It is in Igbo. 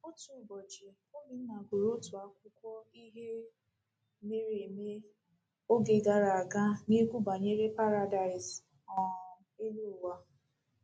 Otu ụbọchị, Obinna gụrụ otu akwụkwọ ihe mere eme oge gara aga na-ekwu banyere paradaịs um elu ụwa.